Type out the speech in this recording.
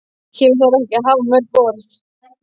Hér um þarf ekki að hafa mörg orð.